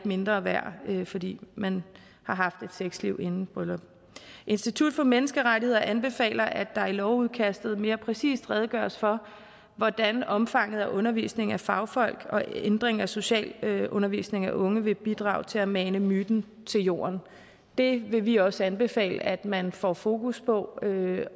mindre værd fordi man har haft et sexliv inden brylluppet institut for menneskerettigheder anbefaler at der i lovudkastet mere præcist redegøres for hvordan omfanget af undervisning af fagfolk og ændring af socialundervisning af unge vil bidrage til at mane myten til jorden det vil vi også anbefale at man får fokus på